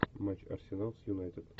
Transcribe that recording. матч арсенал с юнайтед